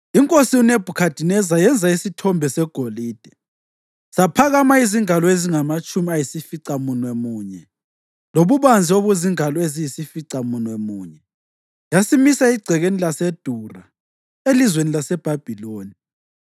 INkosi uNebhukhadineza yenza isithombe segolide, saphakama izingalo ezingamatshumi ayisificamunwemunye lobubanzi obuzingalo eziyisificamunwemunye, yasimisa egcekeni laseDura elizweni laseBhabhiloni.